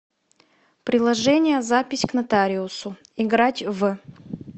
приложение запись к нотариусу играть в